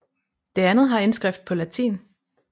Det andet har indskrift på latin